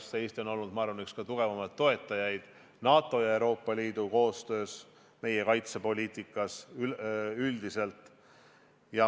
Ma arvan, et Eesti on olnud üks kõige tugevamaid toetajaid NATO ja Euroopa Liidu koostöö puhul, meie kaitsepoliitikas üldiselt.